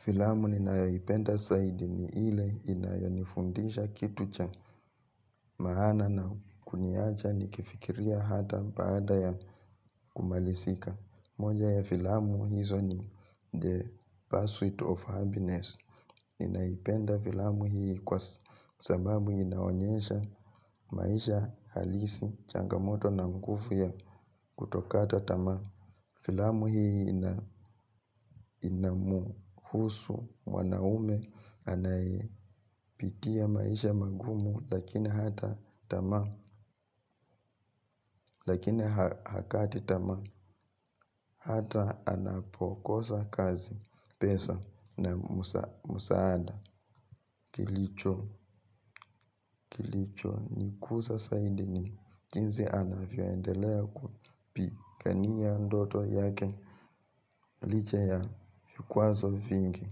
Filamu ninaipenda saidi ni ile inayonifundisha kitu cha maana na kuniaja ni kifikiria hata paada ya kumalisika. Moja ya filamu hizo ni the pursuit of happiness. Ninaipenda filamu hii kwa sabamu inawanyesha maisha halisi changamoto na nkufu ya kutokata tama. Filamu hii inamuhusu mwanaume anayepitia maisha magumu lakini hata tama lakini hakati tama hata anapokosa kazi pesa na msaada kilicho kilicho nikuza zaidi ni jinsi anavyoendelea kupigania ndoto yake licha ya vikwazo vingi.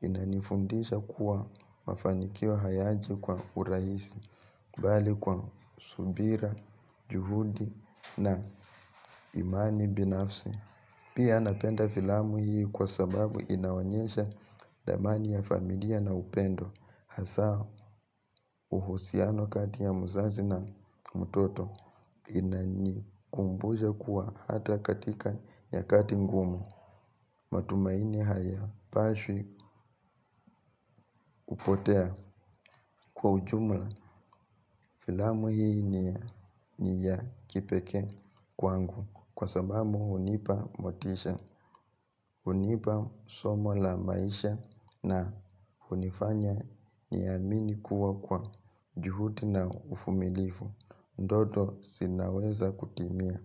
Inanifundisha kuwa mafanikio hayaji kwa urahisi bali kwa subira, juhudi na imani binafsi. Pia napenda filamu hii kwa sababu inaonyesha dhamani ya familia na upendo. Hasa uhusiano kati ya mzazi na mtoto inanikumbusha kuwa hata katika nyakati ngumu matumaini hayapaswi kupotea kwa ujumla filamu hii ni ya kipekee kwangu. Kwa sababu hunipa motisha, hunipa somo la maisha na hunifanya niamini kuwa kwa juhudi na uvumilivu ndoto zinaweza kutimia.